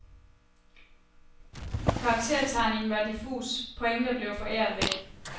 Karaktertegningen var diffus, pointer blev foræret væk.